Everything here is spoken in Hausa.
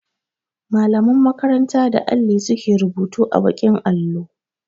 Mallaman makaranta da alli su ke rubutu a baƙin allo.